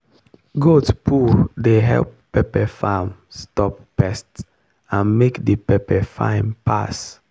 goat poo dey help pepper farm stop pest and make the pepper fine pass.